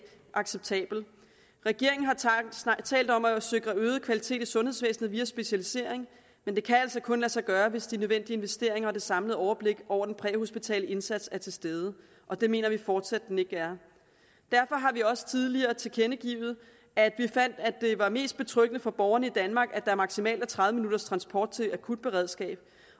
acceptabel regeringen har talt om at sikre øget kvalitet i sundhedsvæsenet via specialisering men det kan altså kun lade sig gøre hvis de nødvendige investeringer og det samlede overblik over den præhospitale indsats er til stede og det mener vi fortsat ikke den er derfor har vi også tidligere tilkendegivet at vi fandt at det er mest betryggende for borgerne i danmark at der er maksimalt tredive minutters transporttid i akutberedskabet